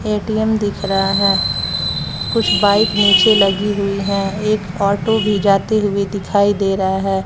ATM दिख रहा है कुछ बाइक नीचे लगी हुई हैं एक ऑटो भी जाते हुए दिखाई दे रहा है।